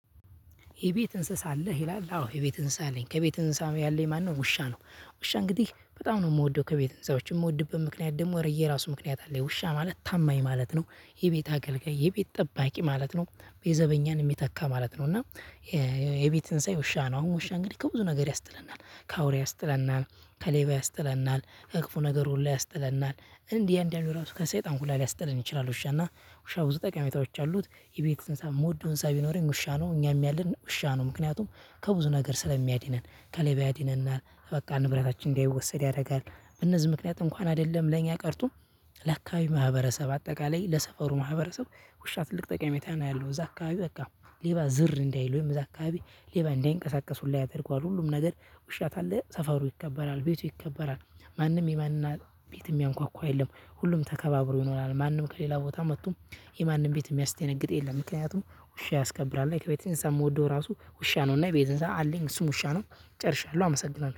የቤት እንስሳ አለህ? ይላል አዎ የቤት እንስሳ አለኝ ከቤት እንስሳም ያለኝ ማነው ውሻ ነው። ውሻ እንግዲህ በጣም ነው የምወደው ከቤት እንስሳዎች የምወድበት ምክንያት ደግሞ የራሱ ምክንያት አለኝ። ውሻ ማለት ታማኝ ማለት ነው የቤት አገልጋይ የቤት ጠባቂ ማለት ነውዘበኛን የሚተካ ማለት ነው። እና የቤት እንሳዬ ውሻ ነው አሁን ውሻ እንግዲህ ከብዙ ነገር ያስጥለናል ከአውሬ ያስጥለናል ከሌባ ያስጥለናል ከክፉ ነገር ሁሉ ያስጥለናል እንዲህ እንዲህ አንዳንዱ እራሱ ከሰይጣን ሁላ ሊያስጠለን ይችላል ውሻና ውሻ ብዙ ጠቃሚዎች አሉት የቤት እንስሳ የምወደው እንስሳ ቢኖረኝ ውሻ ነው እኛም ያለን ውሻ ነው ምክንያቱም ከብዙ ነገር ስለሚያድነን ከሌባ ያድነናል በቃ ንብረታችን እንዳይወሰድ ያደርጋል። እነዚህ ምክንያት አይደለም ለእኛ ቀርቶ ለአካባቢ ማህበረሰብ አጠቃላይ ለሰፈሩ ማህበረሰብ ውሻ ትልቅ ጠቀሜታ ነው ያለው እዛ አካባቢ በቃ ሌባ ዝር እንዳይል ወይም እዛ አካባቢ ሌባ እንዳይንቀሳቀስ ሁላ ያደርገዋል ሁሉም ነገር ውሻ ካለ ሰፈሩ ይከበራል ቤቱ ይከበራል ማንም የማንም ቤትም የሚያንኳኳ የለም ሁሉም ተከባብሮ ይሆናል ማንም ከሌላ ቦታ መጥቶም የማንም ቤት የሚያስደነግጥ የለም ምክንያቱም ውሻ ያስከብራል እና ከቤት እንስሳ የምወደው እራሱ ውሻ ነው እና የቤት እንስሳ አለኝ እሱን ውሻ ነው ጨርሻለሁ አመሰግናለሁ።